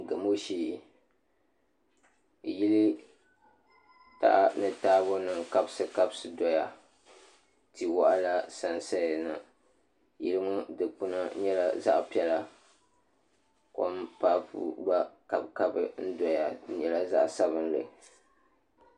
Gamo shee yili taha ni taabo nim n kabisi kabisi doya tia waɣala sansaya na yili ŋɔ dikpuna nyɛla zaɣ piɛla kom papu gba n kabi kabi doya di nyɛla zaɣ sabinli